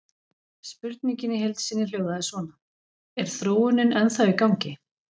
Spurningin í heild sinni hljóðaði svona: Er þróunin ennþá í gangi?